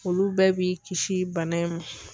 Olu bɛɛ b'i kisi bana in ma.